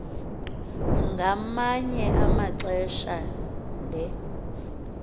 ngamanye amaxesha le